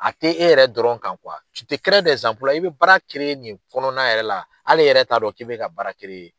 A tɛ e yɛrɛ dɔrɔn kan , i bɛ baara nin kɔnɔna yɛrɛ la, hal'e yɛrɛ t'a dɔn k'i bɛ ka baara .